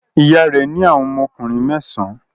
Ìyá rẹ̀ ní àwọn ọmọkùnrin mẹ́sàn-án.